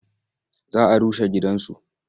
Za a rushe gidansu.